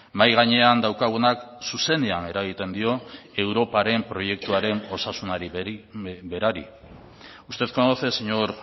mahai gainean daukagunak zuzenean eragiten dio europaren proiektuaren osasunari berari usted conoce señor